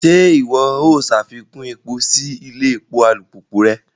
Ṣe iwọ o ṣafikun epo si ilé èpò alupupu rẹ?